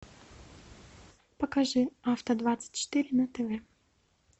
покажи авто двадцать четыре на тв